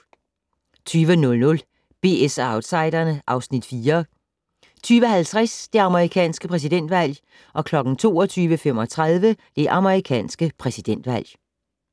20:00: BS & Outsiderne (Afs. 4) 20:50: Det amerikanske præsidentvalg 22:35: Det amerikanske præsidentvalg